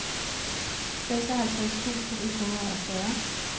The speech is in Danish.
seksoghalvtreds tusind et hundrede og fyrre